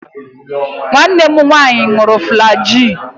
Nwanne m nwanyi ṅụrụ flajil.